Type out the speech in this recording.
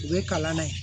U bɛ kalan na yen